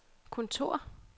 kontor